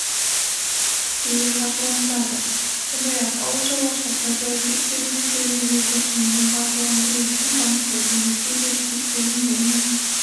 тікелей қаржыландырады сондай-ақ ауыл шаруашылық кооперативтері мен фермерлерді кейіннен қаржыландыру үшін банктерді несие серіктестіктерін және